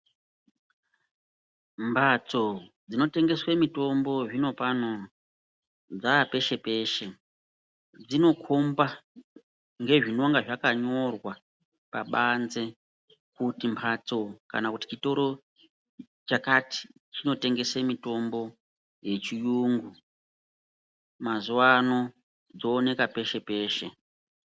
Mbatso dzinotengeswa mitombo zvinopano dzava peshe peshe. Dzinokomba ngezvinonga zvakanyorwa pabanze kuti mbatso kana kuti chitoro chakati chinotengesa mitombo yechiyungu. Mazuwano dzooneka peshe peshe.